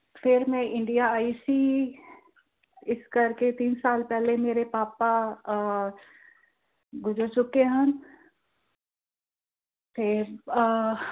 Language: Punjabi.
ਫਿਰ ਮੈਂ ਇੰਡੀਆ ਆਈ ਸੀ। ਅਹ ਇਸ ਕਰਕੇ ਤਿੰਨ ਸਾਲ ਪਹਿਲੇ ਮੇਰੇ ਪਾਪਾ ਅਹ ਗੁਜ਼ਰ ਚੁੱਕੇ ਹਨ। ਤੇ ਅਹ